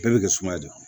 Bɛɛ bɛ kɛ sumaya de ye